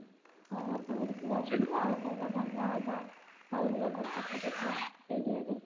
ଆଉ କୋଊଟା ଆଉ କୋଊଟା ଭଲ ହେବ ସହିଦ ନଗର location ପାଖାପାଖି area ରେ